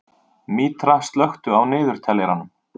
Mítra, slökktu á niðurteljaranum.